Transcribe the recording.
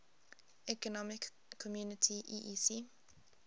economic community eec